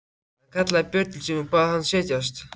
Hann kallaði Björn til sín og bað hann setjast.